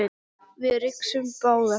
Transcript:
Við rigsum báðar.